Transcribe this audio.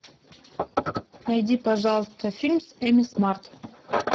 найди пожалуйста фильм с эми смарт